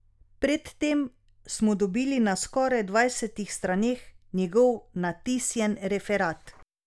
Predtem smo dobili na skoraj dvajsetih straneh njegov natisnjen referat.